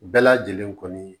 Bɛɛ lajɛlen kɔni